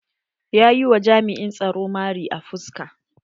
Ya yi wa jami'in tsaro mari a fuska.